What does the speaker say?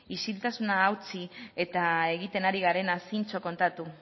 isiltasuna hautsi eta egiten ari garena zintzo kontatu